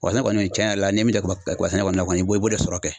Kaba sɛnɛ kɔni tiɲɛ yɛrɛ la ni ye min don kaba kaba sɛnɛ kɔni na i b'o i b;o de sɔrɔ kɛ .